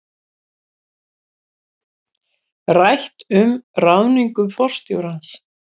Rætt um ráðningu forstjórans